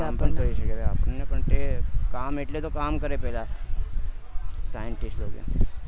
આપણે કામ એટલે તો કામ કરે પેહલા sciencetist લોકો